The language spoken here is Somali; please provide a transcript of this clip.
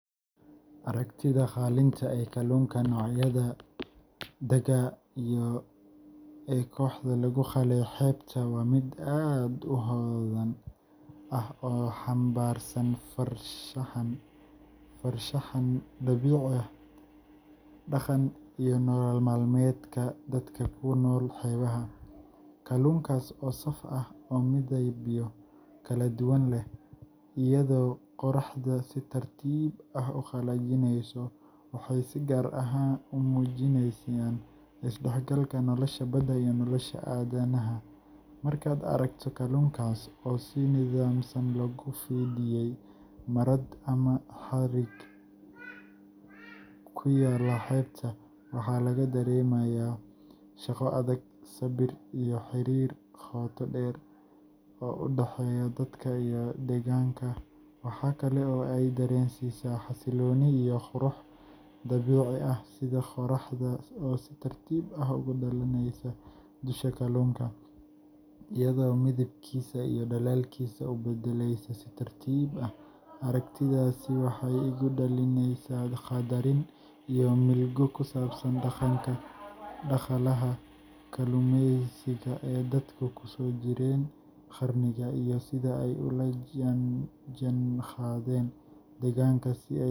Aragtida qalinka ee kalluunka noocyada Cyprinid dagaa and sardines ee qoraxda lagu qalay xeebta waa mid aad u hodan ah oo xambaarsan farshaxan dabiici ah, dhaqan, iyo nolol maalmeedka dadka ku nool xeebaha. Kalluunkaas oo saf ah oo midabyo kala duwan leh, iyadoo qoraxdu si tartiib ah u qalajineyso, waxay si gaar ah u muujinayaan isdhexgalka nolosha badda iyo nolosha aadanaha. Markaad aragto kalluunkaas oo si nidaamsan loogu fidiyay marad ama xarig ku yaal xeebta, waxaa laga dareemayaa shaqo adag, sabir, iyo xiriir qoto dheer oo u dhexeeya dadka iyo deegaanka. Waxaa kale oo ay dareensiisaa xasillooni iyo qurux dabiici ah sida qorraxda oo si tartiib ah ugu dhalaalaysa dusha kalluunka, iyadoo midabkiisa iyo dhalaalkiisa u beddelaysa si tartiib ah. Aragtidaasi waxay igu dhalinaysaa qadarin iyo milgo ku saabsan dhaqanka dhaqaalaha kalluumeysiga ee dadku kusoo jireen qarniyo, iyo sida ay ula jaanqaadeen deegaanka si ay.